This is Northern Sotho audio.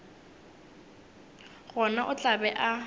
gona o tla be a